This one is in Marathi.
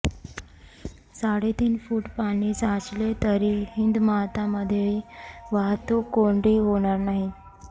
साडेतीन फूट पाणी साचले तरी हिंदमातामध्ये वाहतूक कोंडी होणार नाही